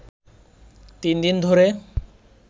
তিন দিন ধরে